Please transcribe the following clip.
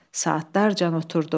Saatlarcan oturdu.